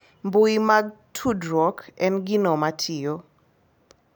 Mbui mag tudruok en gino matiyo